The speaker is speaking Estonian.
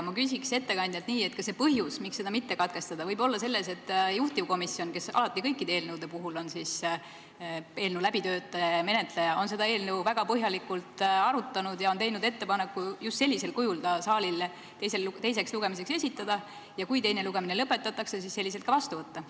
Ma küsiks ettekandjalt nii: kas põhjus, miks seda mitte katkestada, võib olla selles, et juhtivkomisjon, kes alati kõikide eelnõude puhul on eelnõu läbitöötaja ja menetleja, on seda eelnõu väga põhjalikult arutanud ja teinud ettepaneku just sellisel kujul ta saalile teiseks lugemiseks esitada ning kui teine lugemine lõpetatakse, siis selliselt ka vastu võtta?